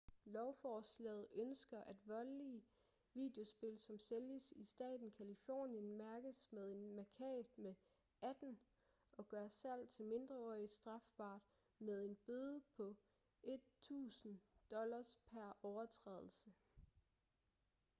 lovforslaget ønsker at voldelige videospil som sælges i staten californien mærkes med en mærkat med 18 og gør salg til mindreårige strafbart med en bøde på 1000$ pr overtrædelse